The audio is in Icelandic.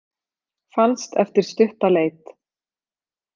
Fannst eftir stutta leit